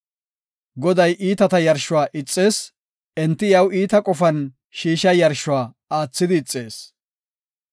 Goday iitata yarshuwa ixees; enti iyaw iita qofan shiishiya yarshuwa aathidi ixees.